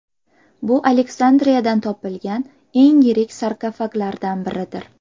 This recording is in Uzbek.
Bu Aleksandriyadan topilgan eng yirik sarkofaglardan biridir.